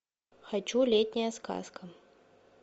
хочу летняя сказка